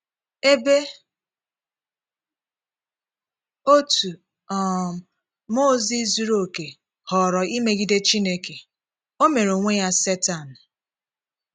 Ebe otu um mmụọ ozi zuru okè họọrọ imegide Chineke, o mere onwe ya Setan